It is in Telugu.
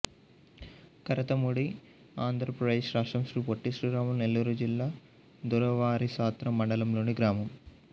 కరతమూడి ఆంధ్ర ప్రదేశ్ రాష్ట్రం శ్రీ పొట్టి శ్రీరాములు నెల్లూరు జిల్లా దొరవారిసత్రం మండలంలోని గ్రామం